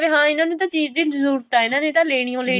ਹਾਂ ਇਹਨਾ ਨੂੰ ਤਾਂ ਚੀਜ਼ ਦੀ ਜਰੂਰਤ ਆ ਵੀ ਇਹਨਾ ਨੇ ਤਾਂ ਲੈਣੀ ਓ